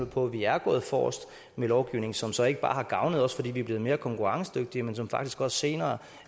på at vi er gået forrest med lovgivning som så ikke bare har gavnet os fordi vi er blevet mere konkurrencedygtige men som faktisk også senere